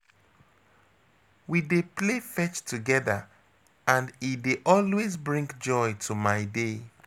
We dey play fetch together, and e dey always bring joy to my day.